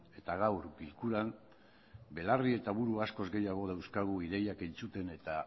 eta gaur bilkuran belarri eta buru askoz gehiago dauzkagu ideiak entzuten eta